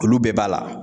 Olu bɛɛ b'a la